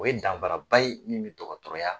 O ye danfara ba ye min bɛ dɔgɔtɔrɔya